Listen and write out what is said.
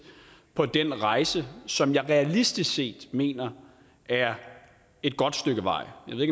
på den rejse som jeg realistisk set mener er et godt stykke vej jeg